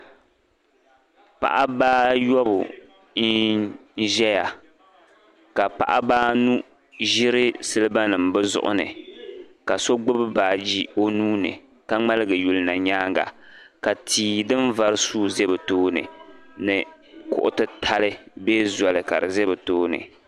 paɣaba ayɔbu n zaya ka paɣaba anu ʒiri siliba nima bɛ zuɣu ni ka so gbubi baagi o nuuni ka ŋmaligi yuli na nyaaga ka tia din vari suui ʒi bɛ tooni ni kuɣu titali bee zoli kadi ʒe bɛ tooni